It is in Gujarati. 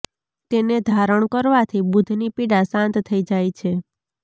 તેને ધારણ કરવાથી બુઘની પીડા શાંત થઇ જાય છે